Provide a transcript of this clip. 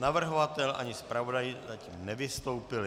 Navrhovatel ani zpravodaj zatím nevystoupili.